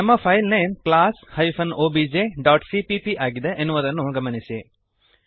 ನಮ್ಮ file name class hyphen OBJ dot CPP ಆಗಿದೆ ಎನ್ನುವುದನ್ನು ಗಮನಿಸಿರಿ